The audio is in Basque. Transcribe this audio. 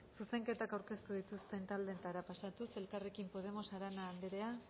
zuzenketa aurkeztu dituzten taldeen txandara pasatuz elkarrekin podemos arana andrea